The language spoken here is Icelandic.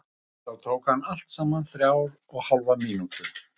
Þetta tók hann allt saman þrjár og hálfa mínútu.